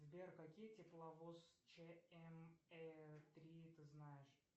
сбер какие тепловоз чм три ты знаешь